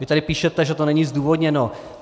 Vy tady píšete, že to není zdůvodněno.